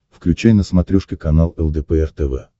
включай на смотрешке канал лдпр тв